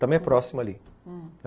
Também é próximo ali, hum.